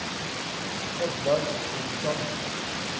Oddlaug Nilsson